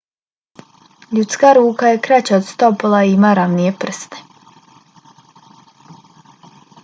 ljudska ruka je kraća od stopala i ima ravnije prste